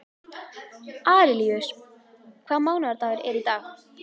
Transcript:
Arilíus, hvaða mánaðardagur er í dag?